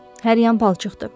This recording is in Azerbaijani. Hər yan palçıqdır.